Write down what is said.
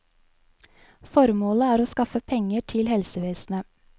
Formålet er å skaffe penger til helsevesenet.